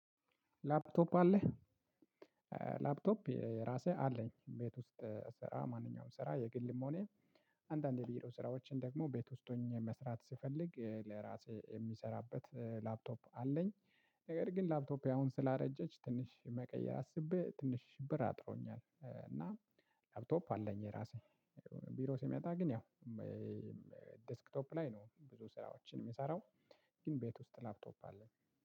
ላፕቶፕ አለህ? ላፕቶፕ የራሴ አለኝ ቤት ውስጥ ስራ ማንኛውም ስራ የግልም ሆነ አንዳንድ የቢሮ ስራዎችን ደግሞ ቤት ውስጥ ሆኜ መስራት ስፈልግ ለራሴ የሚሰራበት ላፕቶፕ አለኝ። ነገር ግን ላፕቶፕ አሁን ስላረጀች ትንሽ መቀየር አስቤ ትንሽ ብር አጥሮኛል እና ላፕቶፕ አለኝ የራሴ። ቢሮ ስመጣ ግን ያው ዴስክቶፕ ላይ ነው ብዙ ሰዎችን የሚሰራው። ግን ቤት ውስጥ ላፕቶፕ አለ